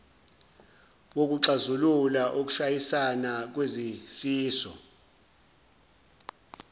wokuxazulula ukushayisana kwezifiso